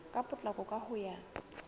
ka potlako ka ho ya